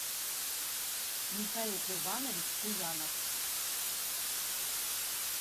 михаил курбанович куянов